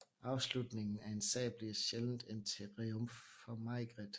Afslutningen af en sag bliver sjældent en triumf for Maigret